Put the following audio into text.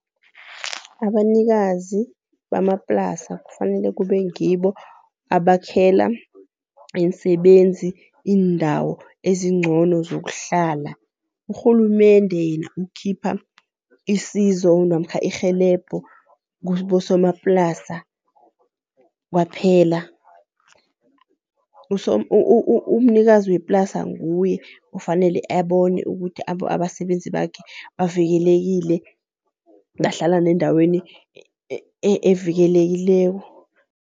Abanikazi bamaplasa kufanele kube ngibo abakhela iinsebenzi iindawo ezincono zokuhlala. Urhulumende yena ukhipha isizo namkha irhelebho kubosomaplasa kwaphela. Umnikazi weplasa nguye ofanele abone ukuthi abasebenzi bakhe bavikelekile, bahlala nendaweni evikelekileko.